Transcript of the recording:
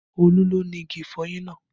Olú ló ni igi ìfọyín náà